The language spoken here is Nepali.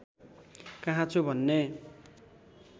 कहाँ छु भन्ने